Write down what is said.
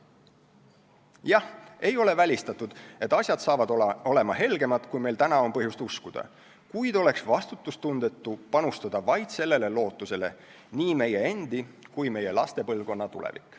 Jah, ei ole välistatud, et asjad on helgemad, kui meil täna on põhjust uskuda, kuid oleks vastutustundetu panustada vaid sellele lootusele nii meie endi kui ka meie laste põlvkonna tulevik.